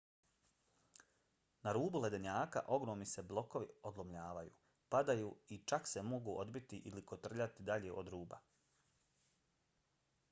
na rubu ledenjaka ogromni se blokovi odlomljavaju padaju i čak se mogu odbiti ili kotrljati dalje od ruba